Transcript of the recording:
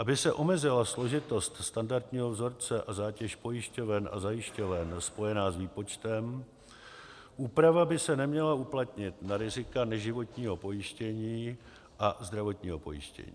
Aby se omezila složitost standardního vzorce a zátěž pojišťoven a zajišťoven spojená s výpočtem, úprava by se neměla uplatnit na rizika neživotního pojištění a zdravotního pojištění.